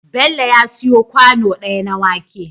Bello ya siyo kwano daya na wake